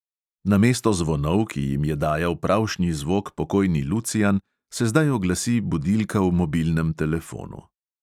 Namesto zvonov, ki jim je dajal pravšnji zvok pokojni lucijan, se zdaj oglasi budilka v mobilnem telefonu.